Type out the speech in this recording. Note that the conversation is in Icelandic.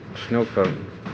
snjókorn